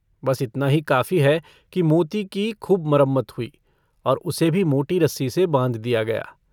बस इतना ही काफ़ी है कि मोती की खूब मरम्मत हुई और उसे भी मोटी रस्सी से बाँध दिया गया।